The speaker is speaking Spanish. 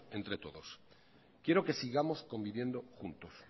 entre todos quiero que sigamos conviviendo juntos